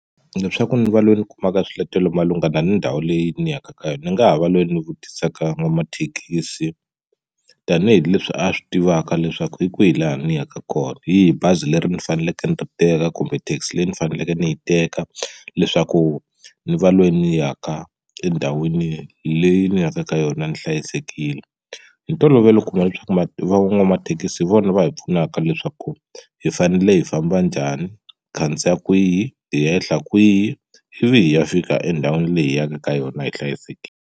Leswaku ndzi va loyi ni kumaka swiletelo malungana ni ndhawu leyi ni yaka ka yona ni nga ha va loyi ni vutisaka n'wamathekisi tanihileswi a swi tivaka leswaku hi kwihi laha ni yaka kona hi yihi bazi leri ni faneleke ni ri teka kumbe taxi leyi ni faneleke ni yi keka leswaku ni va loyi ni ya ka endhawini leyi ni yaka ka yona ni hlayisekile hi ntolovelo u kuma leswaku ma van'wamathekisi hi vona va hi pfunaka leswaku hi fanele hi famba njhani hi khandziya kwihi hi ehla kwihi ivi hi ya fika endhawini leyi hi yaka ka yona hi hlayisekile.